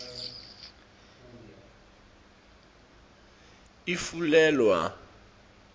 ifulelwa